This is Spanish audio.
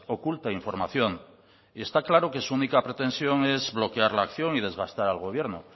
oculta información y está claro que su única pretensión es bloquear la acción y desgastar al gobierno